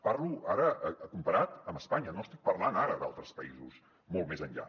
parlo ara comparat amb espanya no estic parlant ara d’altres països molt més enllà